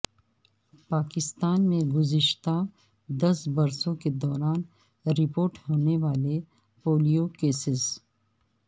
پاکستان میں گزشتہ دس برسوں کے دوران رپورٹ ہونے والے پولیو کیسز